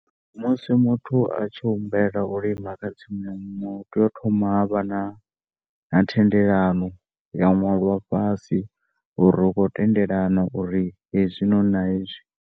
Musi muthu a tshi humbela u lima kha tsimu ya muṅwe hu tea u thoma havha na thendelano ya ṅwalwa fhasi uri ri khou tendelana uri hezwinoni na hezwi.